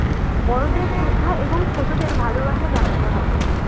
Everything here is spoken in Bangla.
বড়দের শ্রদ্ধা এবং ছোটদের ভালোবাসা জানাতে হবে